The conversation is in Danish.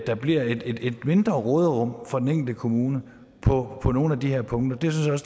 der bliver et mindre råderum for den enkelte kommune på nogle af de her punkter det